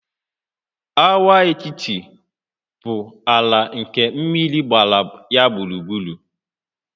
Agwaetiti bụ ala nke mmiri gbara ya gburugburu